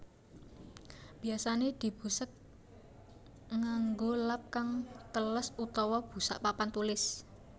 Biyasané dibusek nganggo lap kang teles utawa busak papan tulis